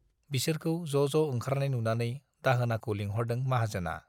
बिसोरखौ ज' ज' ओंखारनाय नुनानै दाहोनाखौ लिंहरदों माहाजोना।